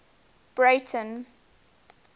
breyten